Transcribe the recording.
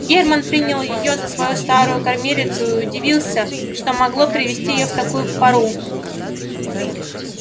германн принял её за свою старую кормилицу и удивился что могло привести её в такую пору